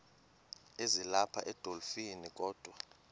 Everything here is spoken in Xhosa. ezilapha edolophini kodwa